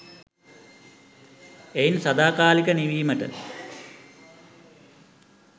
එයින් සදාකාලික නිවීමට